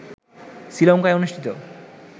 শ্রীলঙ্কায় অনুষ্ঠিত